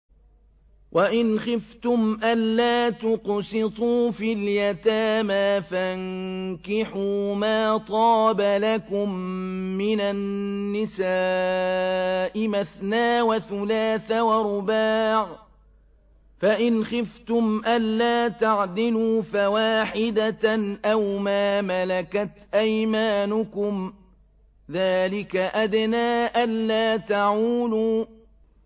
وَإِنْ خِفْتُمْ أَلَّا تُقْسِطُوا فِي الْيَتَامَىٰ فَانكِحُوا مَا طَابَ لَكُم مِّنَ النِّسَاءِ مَثْنَىٰ وَثُلَاثَ وَرُبَاعَ ۖ فَإِنْ خِفْتُمْ أَلَّا تَعْدِلُوا فَوَاحِدَةً أَوْ مَا مَلَكَتْ أَيْمَانُكُمْ ۚ ذَٰلِكَ أَدْنَىٰ أَلَّا تَعُولُوا